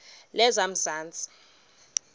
lezamanzi